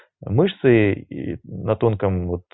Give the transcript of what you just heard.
мышцы и на тонком вот